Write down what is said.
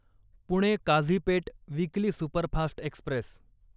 Pune Kazipet weekly superfast Express